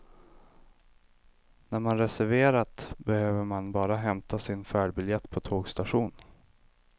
När man reserverat behöver man bara hämta sin färdbiljett på tågstationen.